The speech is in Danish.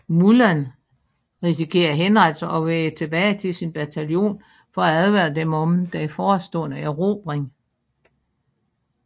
Mulan risikerer henrettelse og vender tilbage til sin bataljon for at advare dem om den forestående erobring